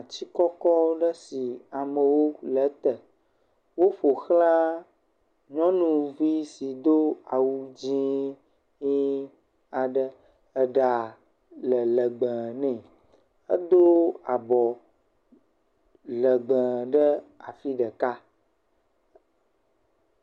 Atikɔkɔ aɖe si amewo le ete, wo ƒoxla nyɔnuvi si do awu dzɛ̃kpui aɖe, eɖa le legbee nɛ, edo abɔ legbee ɖe afi ɖeka.